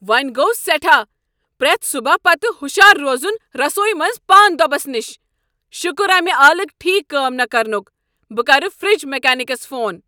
وۄنۍ گوٚو سیٹھاہ پرٛیتھ صبح پتۍ ہشار روزُن رسویی منٛزپاں دۄبس نش، شٗكر امہِ آلٕكۍ ٹھیكھ كٲم نہٕ كرنُک ! بہ کرٕ فرج میكنِكس فون۔